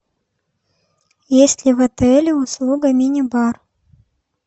есть ли в отеле услуга мини бар